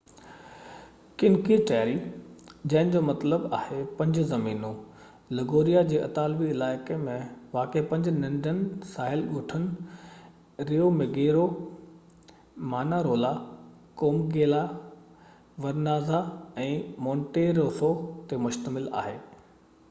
cinque terre جنهن جو مطلب آهي پنج زمينون لگوريا جي اطالوي علائقي ۾ واقع پنج ننڍن ساحلي ڳوٺن Riomaggiore Manarola Corniglia Vernazza ۽ Monterosso تي مشتمل آهي